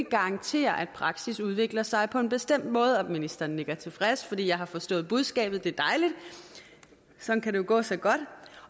garantere at praksis udvikler sig på en bestemt måde og ministeren nikker tilfreds fordi jeg har forstået budskabet det er dejligt sådan kan det jo gå så godt